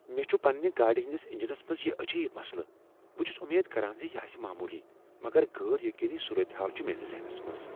مےٚ چھ پننہ گاڑ ہندس انجنس منز یہ عجیب مسلہٕ۔ بہٕ چھس امید کران ز یہ آسہ معمولی، مگر غیر یقینی صورتحال چھ میٲنس ذہنس منٛز۔